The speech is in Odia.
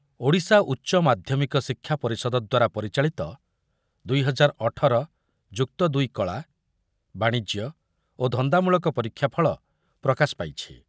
ଓଡ଼ିଶା ଉଚ୍ଚମାଧ୍ୟମିକ ଶିକ୍ଷା ପରିଷଦ ଦ୍ୱାରା ପରିଚାଳିତ ଦୁଇହଜାରଅଠର ମସିହା ଯୁକ୍ତ ଦୁଇ କଳା, ବାଣିଜ୍ୟ ଓ ଧନ୍ଦାମୂଳକ ପରୀକ୍ଷା ଫଳ ପ୍ରକାଶ ପାଇଛି।